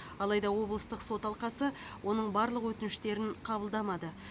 алайда облыстық сот алқасы оның барлық өтініштерін қабылдамады